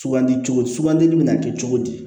Sugandi cogo di sugandili bɛ na kɛ cogo di